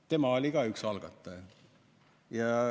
Tema oli ka üks algataja.